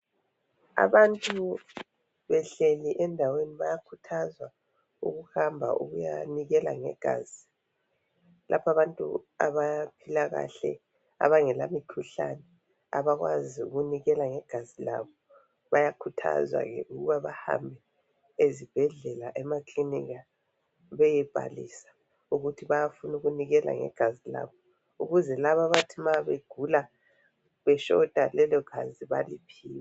Abantu behleli endaweni bayakhuthazwa ukuhamba ukuyanikela ngegazi . Laba abntu abaphila kahle abangela mikhuhlane abakwazi ukunikela ngegazi labo bayakhuthazwa ke ukuba bahambe ezibhedlela, emakilinika beyebhalisa ukuthi bayafuna ukunikla ngegazi labo ukuze labo abethi nxa begula beshota ngegazi baliohiwe.